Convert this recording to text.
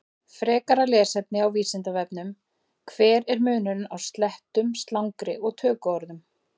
Frekara lesefni á Vísindavefnum: Hver er munurinn á slettum, slangri og tökuorðum?